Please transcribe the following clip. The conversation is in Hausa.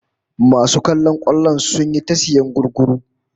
Masu kallon kwallon sun yi ta sayan gugguru